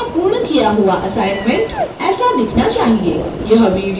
आपका पूर्ण किया हुआ असाइनमेंट ऐसा दिखाई देना चाहिए